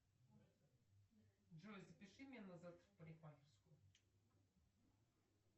джой запиши меня на завтра в парикмахерскую